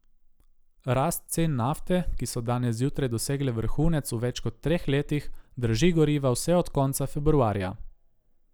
Rast cen nafte, ki so danes zjutraj dosegle vrhunec v več kot treh letih, draži goriva vse od konca februarja.